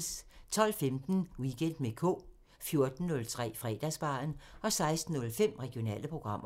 12:15: Weekend med K 14:03: Fredagsbaren 16:05: Regionale programmer